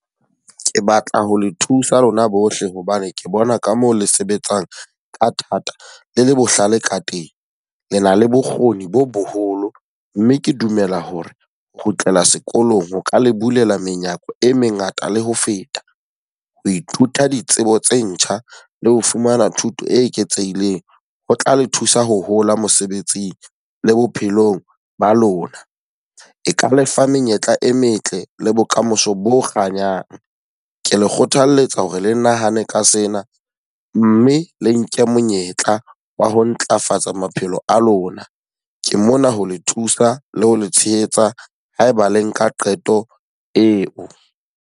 Ke batla ho le thusa lona bohle hobane ke bona ka moo le sebetsang ka thata, le le bohlale ka teng. Le na le bokgoni bo boholo mme ke dumela hore ho kgutlela sekolong ho ka le bulele menyako e mengata le ho feta. Ho ithuta ditsebo tse ntjha le ho fumana thuto e eketsehileng. Ho tla le thusa ho hola mosebetsing, le bophelong ba lona. E ka le fa menyetla e metle le bokamoso bo kganyang. Ke le kgothaletsa hore le nahane ka sena mme le nke monyetla wa ho ntlafatsa maphelo a lona. Ke mona ho le thusa le ho le tshehetsa haeba le nka qeto eo.